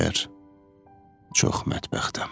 Deyər: Çox mətbəxtəm.